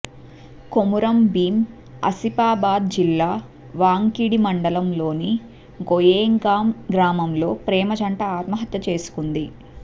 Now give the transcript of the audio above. కొమురం భీం అసిపాబాద్ జిల్లా వాంకిడి మండలంలోని గొయేగాం గ్రామంలో ప్రేమ జంట అత్మహత్య చేసుకుంది